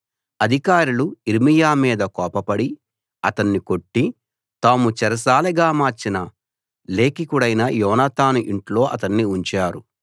అధికారులు యిర్మీయా మీద కోపపడి అతన్ని కొట్టి తాము చెరసాలగా మార్చిన లేఖికుడైన యోనాతాను ఇంట్లో అతన్ని ఉంచారు